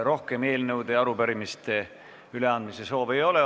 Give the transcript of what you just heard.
Rohkem eelnõude ja arupärimiste üleandmise soove ei ole.